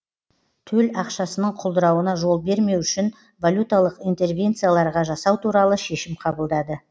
төл ақшасының құлдырауына жол бермеу үшін валюталық интервенцияларға жасау туралы шешім қабылдады